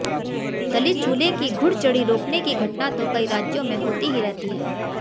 दलित दूल्हे की घुड़चढ़ी रोकने की घटना तो कई राज्यों में होती ही रहती हैं